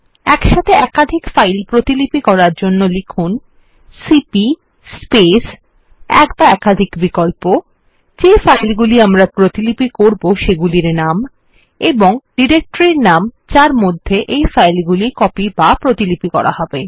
একসাথে একাধিক ফাইল প্রতিলিপি করার জন্য লিখুন সিপি স্পেস এক বা একাধিক বিকল্প যে ফাইল গুলি আমরা প্রতিলিপি করবো সেগুলির নাম এবং ডিরেক্টরির নাম যার মধ্যে এই ফাইল গুলি কপি বা প্রতিলিপি করা হবে